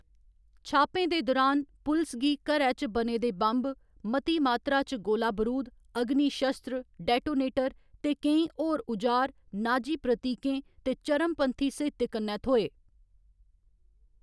छापें दे दुरान, पुलस गी घैर च बने दे बम्ब, मती मात्तरा च गोला बरूद, अगनी शस्त्र, डेटोनेटर ते केईं होर उजार, नाजी प्रतीकें ते चरमपंथी साहित्य कन्नै थ्होए।